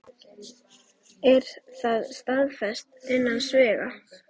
Er það staðfest innan sviga?